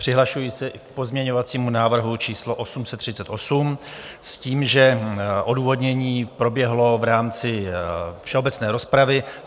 Přihlašuji se k pozměňovacímu návrhu číslo 838 s tím, že odůvodnění proběhlo v rámci všeobecné rozpravy.